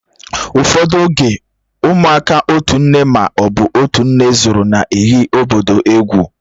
Ụfọdụ oge, ụmụaka otu nne ma ọ bụ otú nne zúru na-eghi obodo egwú